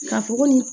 Ka fɔ ko nin